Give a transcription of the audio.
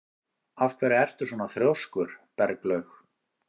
Af hverju ertu svona þrjóskur, Berglaug?